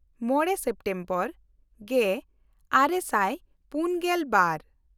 ᱢᱚᱬᱮ ᱥᱮᱯᱴᱮᱢᱵᱚᱨ ᱜᱮᱼᱟᱨᱮ ᱥᱟᱭ ᱯᱩᱱᱜᱮᱞ ᱵᱟᱨ